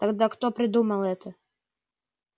тогда кто придумал это